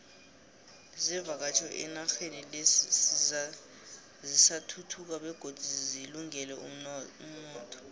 zevakatjho enaxheni le zisathuthuka begodu zilungele umotho